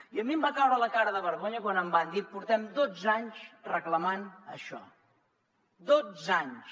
i a mi em va caure la cara de vergonya quan em van dir portem dotze anys reclamant això dotze anys